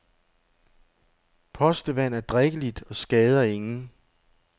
Postevand er drikkeligt og skader ingen.